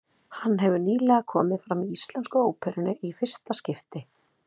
Hann hefur nýlega komið fram í Íslensku óperunni í fyrsta skipti.